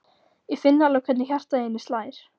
Ég finn alveg hvernig hjartað í henni slær.